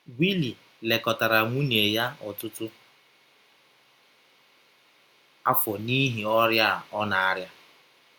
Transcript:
Willi lekọtara nwụnye ya ọtụtụ afọ n’ihi ọrịa ọ na - arịa.